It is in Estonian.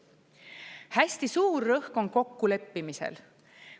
Hästi suur rõhk on kokkuleppimisel.